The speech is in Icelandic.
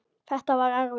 Þetta var erfitt.